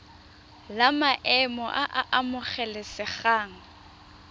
la maemo a a amogelesegang